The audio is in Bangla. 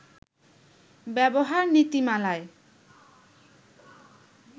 ব্যবহার নীতিমালায়